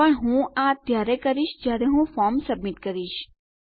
પણ હું આ ત્યારે કરીશ જયારે હું ફોર્મ સબમિટ કરીશ